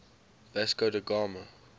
vasco da gama